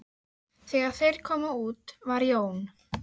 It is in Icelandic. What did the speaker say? Þegar þeir komu út var Jón